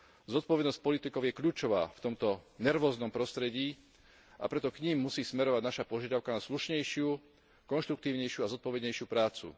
Zodpovednosť politikov je kľúčová v tomto nervóznom prostredí, a preto k nim musí smerovať naša požiadavka na slušnejšiu, konštruktívnejšiu a zodpovednejšiu prácu.